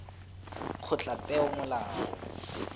kgotlapeomolao